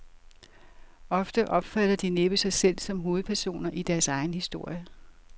Ofte opfatter de næppe sig selv som hovedpersoner i deres egen historie.